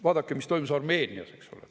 Vaadake, mis toimus Armeenias, eks ole.